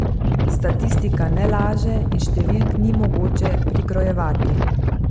Statistika ne laže in številk ni mogoče prikrojevati.